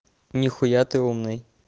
нихуя ты умный